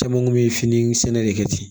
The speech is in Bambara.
Caman kun bɛ fini sɛnɛ de kɛ ten